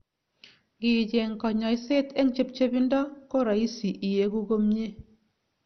Ngiicheng kanyaiset eng chepchepindo ko rahisi iegu komye